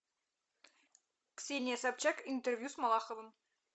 ксения собчак интервью с малаховым